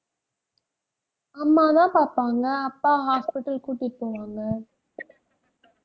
அம்மாதான் பாப்பாங்க. அப்பா hospital கூட்டிட்டு போவாங்க